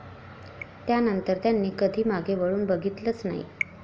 त्यानंतर त्यांनी कधी मागे वळून बघीतलंच नाही.